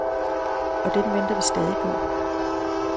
Og den venter vi stadig på.